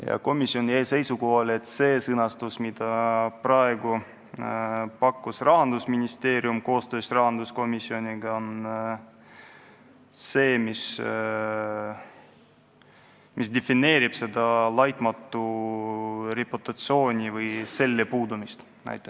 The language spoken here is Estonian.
Ja komisjon jäi seisukohale, et see sõnastus, mille pakkus välja Rahandusministeerium koostöös rahanduskomisjoniga, defineerib "laitmatu reputatsiooni" või selle puudumise ära.